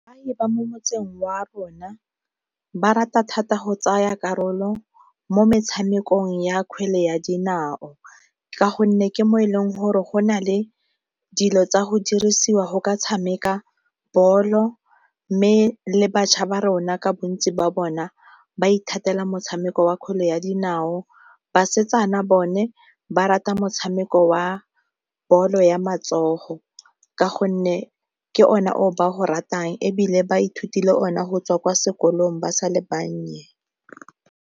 ba mo motseng wa rona ba rata thata go tsaya karolo mo metshamekong ya kgwele ya dinao ka gonne ke mo e leng gore go na le dilo tsa go dirisiwa go ka tshameka bolo mme le bašwa ba rona ka bontsi ba bona ba ithatela motshameko wa kgwele ya dinao. Basetsana bone ba rata motshameko wa bolo ya matsogo ka gonne ke one o ba go ratang ebile ba ithutile ona go tswa kwa sekolong ba sa le bannye.